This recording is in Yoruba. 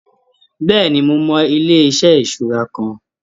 Bẹ́ẹ̀ni, mo mọ ilé-iṣẹ ìṣura kan.